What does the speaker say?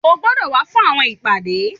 o gbọdọ wá fún àwọn ìpàdé